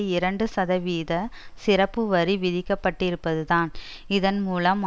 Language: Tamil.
இரண்டு சதவீத சிறப்புவரி விதிக்கப்பட்டிருப்பதுதான் இதன் மூலம்